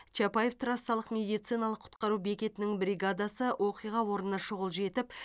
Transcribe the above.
чапаев трассалық медициналық құтқару бекетінің бригадасы оқиға орнына шұғыл жетіп